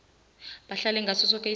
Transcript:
bahlale ngaso soke